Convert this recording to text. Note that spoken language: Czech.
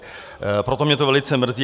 Proto mě to velice mrzí.